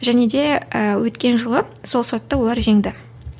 және де ііі өткен жылы сол сотта олар жеңді